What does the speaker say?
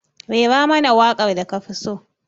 Rera mana waƙar da kafi so.